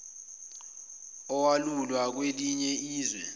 olawulwa kwelinye izwe